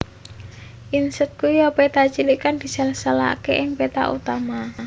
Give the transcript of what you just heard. Inset ya iku péta cilik kang diseselaké ing peta utama